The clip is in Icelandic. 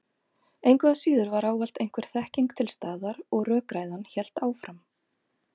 Engu að síður var ávallt einhver þekking til staðar og rökræðan hélt áfram.